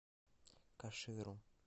каширу